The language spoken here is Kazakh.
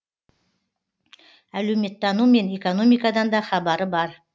әлеуметтану мен экономикадан да хабары бар